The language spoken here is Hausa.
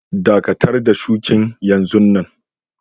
Dakatar da shukin yanzun nan!